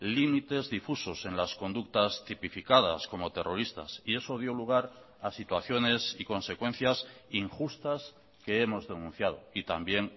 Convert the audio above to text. límites difusos en las conductas tipificadas como terroristas y eso dio lugar a situaciones y consecuencias injustas que hemos denunciado y también